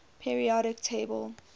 periodic table